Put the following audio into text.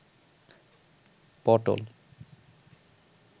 পটল